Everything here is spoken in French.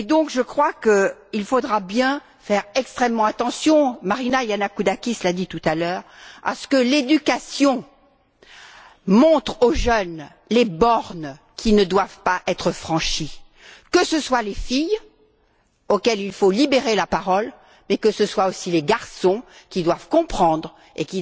Je crois donc que nous devrons faire extrêmement attention Marina Yannakoudakis l'a dit tout à l'heure à ce que l'éducation montre aux jeunes les bornes qui ne doivent pas être franchies, que ce soit les filles, dont il faut libérer la parole, mais que ce soit, aussi, les garçons, qui doivent comprendre et